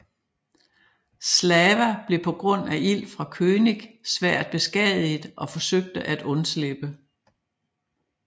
Slava blev på grund af ild fra König svært beskadiget og forsøgte at undslippe